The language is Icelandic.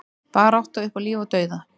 Barátta upp á líf og dauða